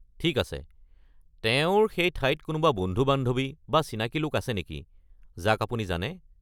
ঠিক আছে, তেওঁৰ সেই ঠাইত কোনোবা বন্ধু-বান্ধৱী বা চিনাকি লোক আছে নেকি যাক আপুনি জানে?